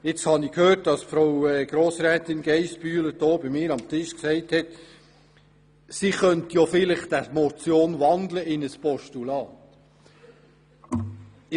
Ich habe gehört, wie Frau Grossrätin Geissbühler bei mir am Tisch gesagt hat, sie könnte die Motion in ein Postulat wandeln.